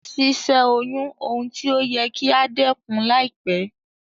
Si sẹ́ oyún oun ti o yẹ kí a dẹ́kun láìpẹ́